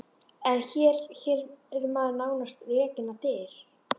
En hér- hér er maður nánast rekinn á dyr!